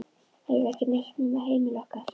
Eiginlega ekki neitt nema heimili okkar.